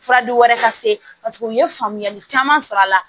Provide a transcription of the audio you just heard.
Fura di wɛrɛ ka se paseke u ye faamuyali caman sɔrɔ a la